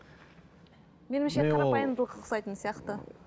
қарапайымдылығы ұқсайтын сияқты